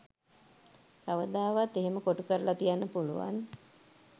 කවදාවත් එහෙම කොටුකරලා තියන්න පුළුවන් .